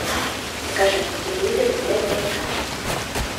покажи мне на телевизоре тдк